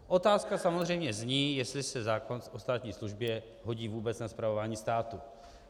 Otázka samozřejmě zní, jestli se zákon o státní službě hodí vůbec na spravování státu.